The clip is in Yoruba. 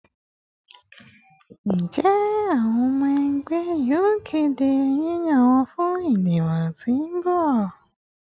Njẹ awọn ọmọ ẹgbẹ yoo kede yiyan wọn fun idibo ti n bọ?